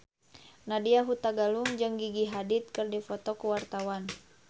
Nadya Hutagalung jeung Gigi Hadid keur dipoto ku wartawan